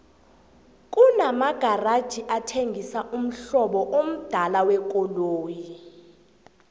kuna magaraji athengisa umhlobo amdala wekoloyi